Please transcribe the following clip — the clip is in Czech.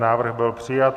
Návrh byl přijat.